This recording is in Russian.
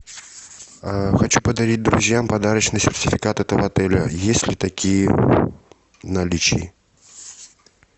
хочу подарить друзьям подарочный сертификат этого отеля есть ли такие в наличии